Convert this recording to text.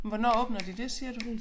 Hvornår åbner de det siger du